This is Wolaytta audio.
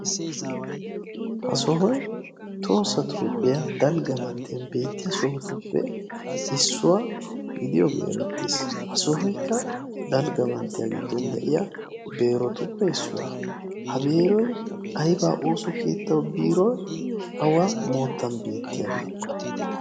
Ha sohoyi tohoossa toophphiya dalgga manttiyan beettiya sohotippe issuwa gidiyogee erettes. Ha sohoykka dalgga manttiya giddon de"iya biirotuppe issuwa. Ha biiroyi ayiba ooso keetta biiroo awa moottan beettiyabee?